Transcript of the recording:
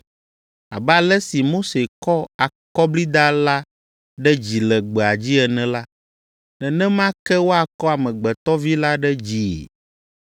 Abe ale si Mose kɔ akɔblida la ɖe dzi le gbea dzi ene la, nenema ke woakɔ Amegbetɔ Vi la ɖe dzii,